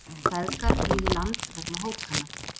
Feðgar flýðu land vegna hótana